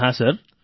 જી હા સર